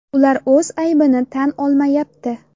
Ular o‘z aybini tan olmayapti.